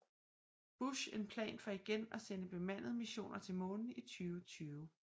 Bush en plan for igen at sende bemandede missioner til Månen i 2020